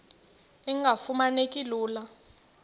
engafuma neki lula